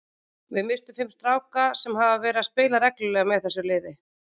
Við misstum fimm stráka sem hafa verið að spila reglulega með þessu liði.